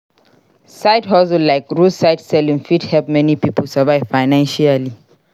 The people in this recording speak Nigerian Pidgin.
Side hustle like roadside selling fit help many pipo survive financially.